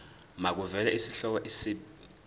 makuvele isihloko isib